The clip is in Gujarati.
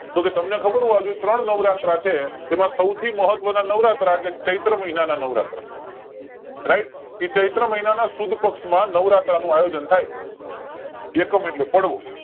તો કે તમને ખબર છે ત્રણ નોવરાત્રા છે એમાં સૌવથી મહત્વ ના નવરાત્રા એટલેચૈત્ર મહિના ના નવરાત્રા RIGHT ઈ ચૈત્ર મહિના ના સુદ પક્ષ માં નવરાત્રા નું આયોજન થાય એકમ એટલે પડવો